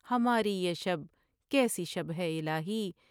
ہماری یہ شب کیسی شب سے الہی